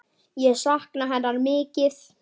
Ég sakna hennar mikið.